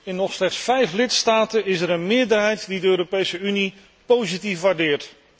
In nog slechts vijf lidstaten is er een meerderheid die de Europese Unie positief waardeert.